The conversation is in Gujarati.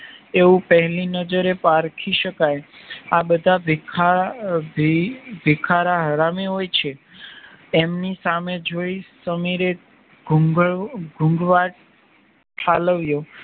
એવું પેહલી નજરે પારખી શકાય આ બધા ભિખાર ભિખારા હરામી હોય છે એમની સામે જોઈ સમીરે ઘૂંઘ ઘૂંઘવાટ ઠાલવીયો